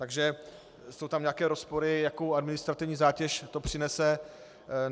Takže jsou tam nějaké rozpory, jakou administrativní zátěž to přinese.